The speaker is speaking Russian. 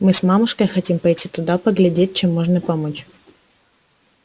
мы с мамушкой хотим пойти туда поглядеть чем можно помочь